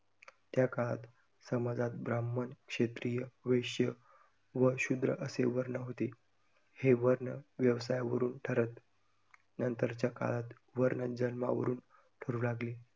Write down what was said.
त्याकाळात समाजात ब्राह्मण, क्षत्रिय, वैश्य व शूद्र असे वर्ण होते, हे वर्ण व्यवसायावरून ठरत नंतरच्या काळात वर्ण जन्मावरुन ठरू लागले.